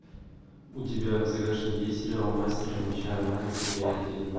у тебя в загашнике есть сериал мастер меча оналайн серия один